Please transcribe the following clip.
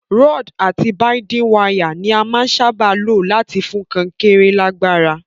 Rod àti binding wire ni a màa n sábà lo láti fún kankéré lágbára